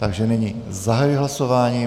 Takže nyní zahajuji hlasování.